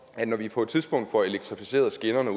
at når vi på et tidspunkt får elektrificeret skinnerne